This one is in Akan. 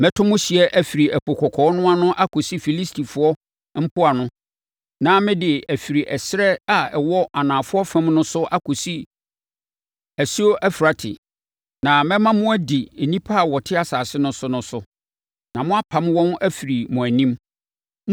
“Mɛto mo ahyeɛ afiri Ɛpo Kɔkɔɔ no ano akɔsi Filistifoɔ mpoano na mede afiri ɛserɛ a ɛwɔ anafoɔ fam no so akɔsi Asuo Eufrate, na mɛma mo adi nnipa a wɔte asase no so no so, na moapam wɔn afiri mo anim.